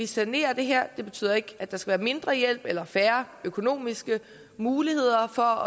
sanere det her det betyder ikke at der skal være mindre hjælp eller færre økonomiske muligheder for